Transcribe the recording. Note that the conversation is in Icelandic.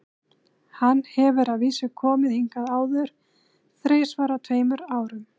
Hann hefur að vísu komið hingað áður, þrisvar á tveimur árum.